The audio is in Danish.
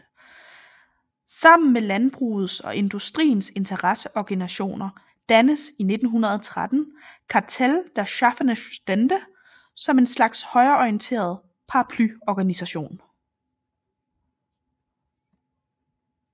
Sammen med landbrugets og industriens interesseorganisationer dannedes i 1913 Kartell der schaffenden Stände som en slags højreorienteret paraplyorganisation